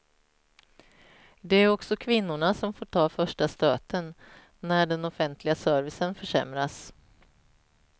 Det är också kvinnorna som får ta första stöten, när den offentliga servicen försämras.